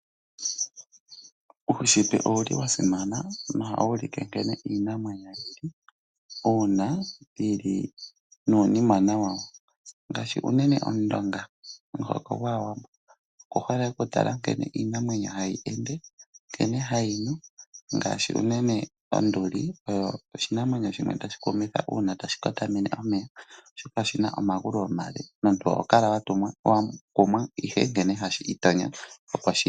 Uushitwe owuli wasimana nohawu ulike nkene iinamwenyo una yili nuunimwena wa wo, ngashi unene omundonga momuhoko gwAawambo oku hole oku tala nkene iinamwenyo hayi ende, nkene hayi nu ngashi unene onduli oyo oshinamwenyo shimwe tashi ku kumwitha una tashi kotamene omeya oshoka oshina omagulu omale, omuntu oho kala wa kumwa ihe nkene hashi itonyo.